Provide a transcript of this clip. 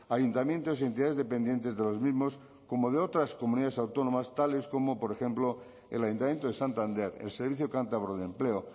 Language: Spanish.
ayuntamientos y entidades dependientes de los mismos como de otras comunidades autónomas tales como por ejemplo el ayuntamiento de santander el servicio cántabro de empleo